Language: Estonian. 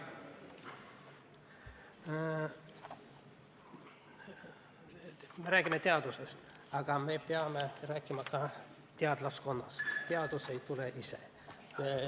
Me räägime teadusest, aga me peame rääkima ka teadlaskonnast, teadus ei teki ise.